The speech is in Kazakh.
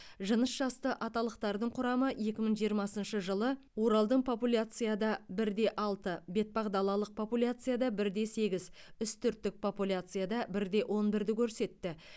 жынысжасты аталықтардың құрамы екі мың жиырмасыншы жылы оралдың популяцияда бірде алты бетпақ далалық популяцияда бірде сегіз үстірттік популяцияда бірде онбірді көрсетті